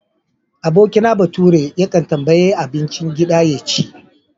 Abokina baturen yakan tambayi abincin gida ya ci.